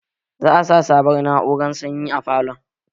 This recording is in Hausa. Za a sa sabon na'urar sanyi a falon